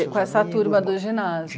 com essa turma do ginásio.